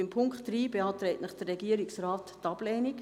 Zu Punkt 3 beantragt Ihnen die Regierung die Ablehnung.